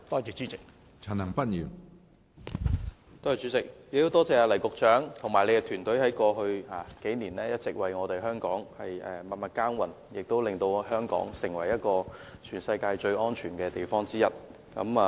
主席，我很感謝黎局長及其團隊在過去數年一直為香港默默耕耘，令香港成為全世界最安全的地方之一。